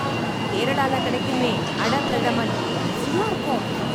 கேரளால கிடைக்குமே அடப் பிரதமன், ருசியா இருக்கும்.